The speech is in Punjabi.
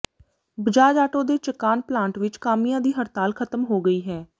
ਬਜਾਜ ਆਟੋ ਦੇ ਚਕਾਨ ਪਲਾਂਟ ਵਿਚ ਕਾਮਿਆਂ ਦੀ ਹੜਤਾਲ ਖ਼ਤਮ ਹੋ ਗਈ ਹੈ